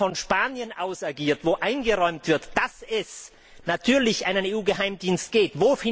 Der von Spanien aus agiert, wo eingeräumt wird, dass es natürlich einen EU Geheimdienst gibt.